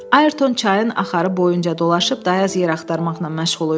Ayrton çayın axarı boyunca dolaşıb dayaz yer axtarmaqla məşğul idi.